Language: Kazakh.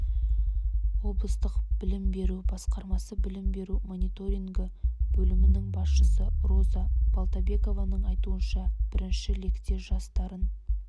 облыстық білім беру басқармасы білім беру мониторингі бөлімінің басшысы роза балтабекованың айтуынша бірінші лекте жас дарын